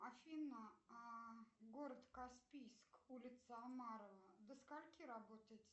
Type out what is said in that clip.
афина а город каспийск улица омарова до скольки работает